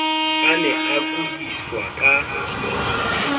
a ne a kudiswa ka